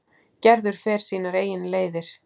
Gerður fer sínar eigin leiðir.